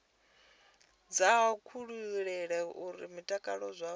dza kutshilele kwa mutakalo wavhuḓi